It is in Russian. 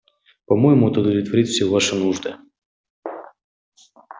по-моему это удовлетворит все ваши нужды